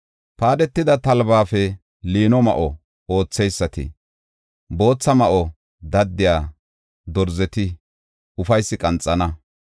Paadetida talbafe liino ma7o ootheysati, bootha ma7o daddiya dorzeti ufaysi qanxana.